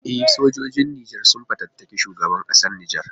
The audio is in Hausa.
E, sojojin Nijar sun fatattaki shugaban kasar Nijar.